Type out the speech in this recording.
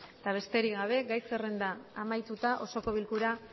eta besterik gabe gai zerrenda amaituta osoko bilkura